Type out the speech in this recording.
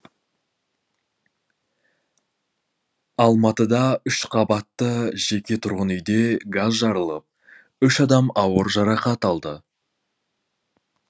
алматыда үш қабатты жеке тұрғын үйде газ жарылып үш адам ауыр жарақат алды